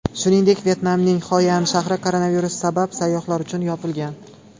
Shuningdek, Vyetnamning Xoyan shahri koronavirus sabab sayyohlar uchun yopilgan .